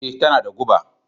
Ee, tana da guba